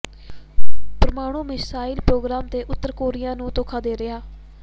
ਪ੍ਰਮਾਣੂੰ missile programme ਤੇ ਉਤਰ Korea ਨੂੰ ਧੋਖਾ ਦੇ ਰਿਹਾ